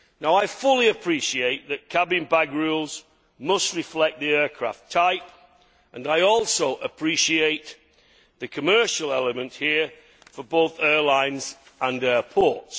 I fully appreciate that cabin bag rules must reflect the aircraft type and I also appreciate the commercial element here for both airlines and airports.